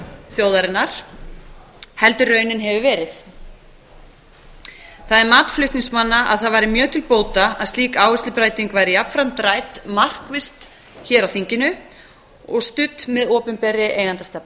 þjóðarinnar heldur en raunin hefur verið það mat flutningsmanna að það væri mjög til bóta að slík áherslubreyting væri jafnframt rædd markvisst hér á þinginu og studd með opinberri eigendastefnu